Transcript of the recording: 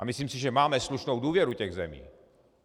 A myslím si, že máme slušnou důvěru těch zemí.